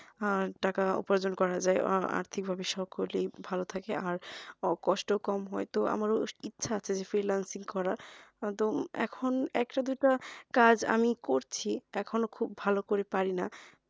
আহ টাকা উপার্জন করা যাই আহ আর্থিক ভাবে সকলেই ভালো থাকে আর কষ্টই কম হয় তো আমার ইচ্ছে আছে যে freelancing করার কারণ এখন একটা দুটা কাজ আমি করছি এখনো খুব ভালো করে পারিনা